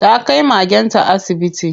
Ta kai magenta asibiti.